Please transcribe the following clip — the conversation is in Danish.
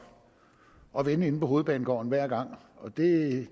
og vende inde på hovedbanegården hver gang og det